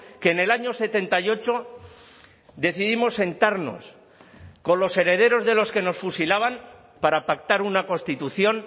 que en el año setenta y ocho decidimos sentarnos con los herederos de los que nos fusilaban para pactar una constitución